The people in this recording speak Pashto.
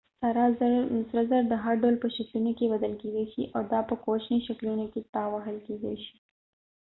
سره زر د هر ډول په شکلونو کې بدل کيدې شي دا په کوچني شکلونو کې تاوهل کیدې شي